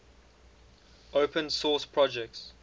open source projects